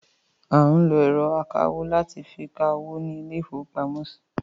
À ń lọ ẹ̀rọ akawó láti fi ka owó ní ilé ìfowópamọ́.